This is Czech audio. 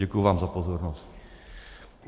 Děkuji vám za pozornost.